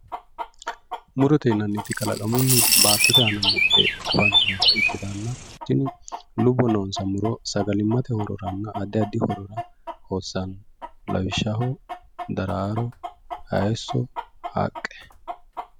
Murote yainnniti kalaqamunni baattote aana afantannota ikkitanna tini lubbo noonsa muro sagalimmatenna addi addi horora hossanno lawishshaho daraaro hayiisso haqqe